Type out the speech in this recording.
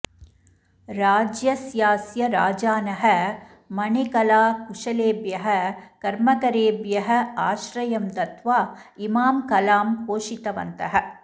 राज्यस्यास्य राजानः मणिकलाकुशलेभ्यः कर्मकरेभ्यः आश्रयं दत्त्वा इमां कलां पोषितवन्तः